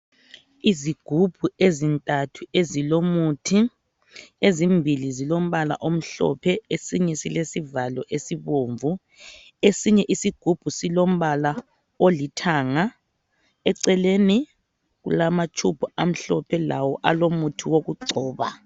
Izigubhu ezintathu ezilomuthi ezimbili zilombala omhlophe esinye silesivalo esibomvu esinye isigubhu silombala olithanga eceleni kulamatshubhu amhlophe lawo alomuthi wokugcoba .